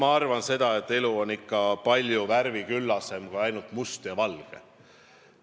Ma arvan, et elu on ikka palju värviküllasem kui ainult must ja valge.